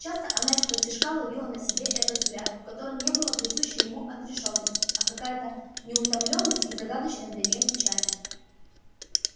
часто она исподтишка ловила на себе этот взгляд в котором не было присущей ему отрешённости а какая-то неутоленность и загадочная для неё печаль